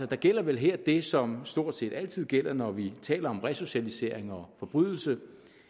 der gælder vel her det som stort set altid gælder når vi taler om resocialisering og forbrydelse